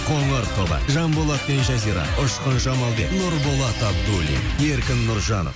қоңыр тобы жанболат пен жазира ұшқын жамалбек нұрболат абудиллин еркін нұржан